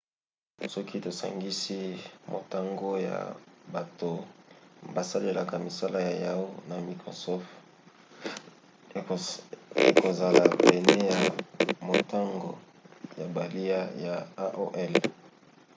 soki tosangisi motango ya bato basalelaka misala ya yahoo! na ya microsoft ekozala pene na motango ya bakiliya ya aol